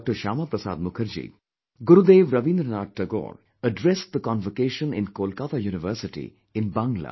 Shyama Prasad Mukherjee, Gurudev Rabindranath Tagore addressed the convocation in Kolkata University in Bangla